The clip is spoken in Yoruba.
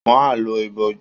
Wọ́n á lo ìbòjú